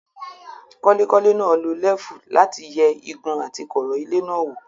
Kọ́lékọ́lé náà lo lẹ́fù láti yẹ igun àti kọ̀ọ̀rọ̀ ilé náà wò.